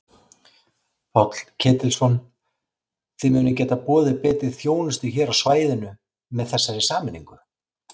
Páll Ketilsson: Þið munið geta boðið betri þjónustu hér á svæðinu með þessari sameiningu?